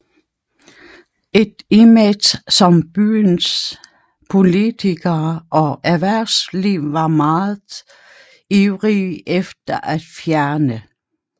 Et image som byens politikere og erhvervsliv var meget ivrige efter at fjerne